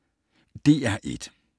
DR1